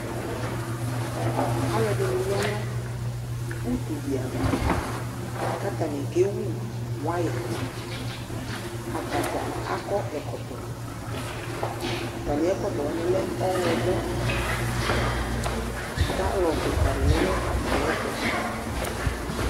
aloɛdini ya no utu di ava k'atani kewu waya atadza akɔ ɛkɔtɔ atami ɛkɔtɔ wani lɛ ɔwlɔmɔ galɔn keka di lɛ no atamiɛto